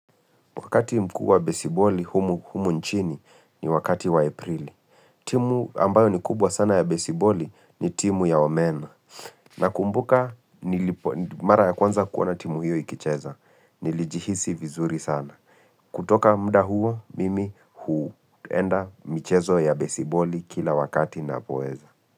Wakati mkuu wa besiboli humu nchini ni wakati wa aprili. Timu ambayo ni kubwa sana ya besiboli ni timu ya omena. Nakumbuka nilipo mara ya kwanza kuona timu hiyo ikicheza. Nilijihisi vizuri sana. Kutoka muda huo mimi huenda michezo ya besiboli kila wakati ninapoeza.